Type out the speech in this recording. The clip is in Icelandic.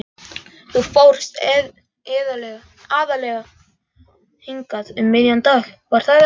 Þú fórst aðallega hingað um miðjan dag, var það ekki?